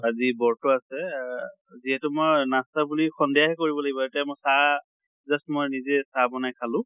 আজি বৰ্ত আছে আহ যিহেতু মই নাষ্টা বুলি সন্ধিয়াহে কৰিব লাগিব। এতিয়া মই চাহ just মই নিজে চাহ বনাই খালো।